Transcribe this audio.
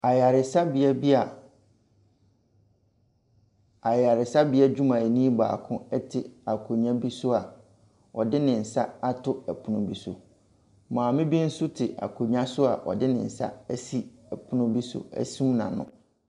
Ayaresabea bi a, ayaresabea dwumayɛni baako ɛte akonnwa bi so a ɔde ne nsa ato ɛpono bi so. Maame bi nso te akonnwa bi so a ɔde ne nsa asi ɔpono bi so asum n'ano.